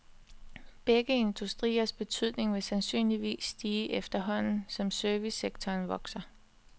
Begge industriers betydning vil sandsynligvis stige efterhånden som servicesektoren vokser.